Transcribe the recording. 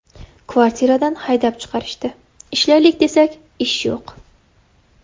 Kvartiradan haydab chiqarishdi, ishlaylik desak, ish yo‘q.